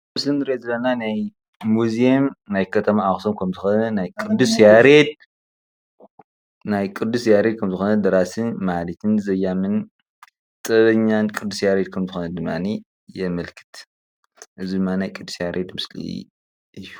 እዚ እንሪኦ ዘለና ሙዝየም ናይ ከተማ ኣክሱም ከም ዝኮነ ናይ ቅዱስ ያሬድ ከም ዝኮነ ደራስን ዘያምን ጥበበኛን ቅዱስ ያሬድ ከም ዝኮነ ድማነየአ የምልክት እዚ ድማ ናይ ቅዱስ ያሬድ ምስሊ እዩ፡፡